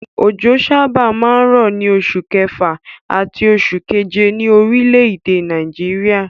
Òjò sábà máa ń rọ̀ ní oṣù kẹfà àti oṣù keje ní orílẹ̀-èdè Nàìjíríà.